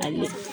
Ayi